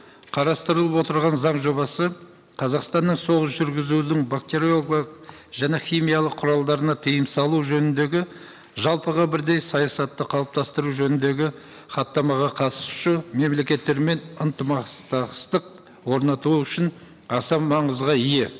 қарастырылып отырған заң жобасы қазақстанның соғыс жүргізудің және химиялық құралдарына тыйым салу жөніндегі жалпыға бірдей саясатты қалыптастыру жөніндегі хаттамаға қатысушы мемлекеттермен орнату үшін аса маңызға ие